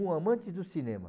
Um amante do cinema.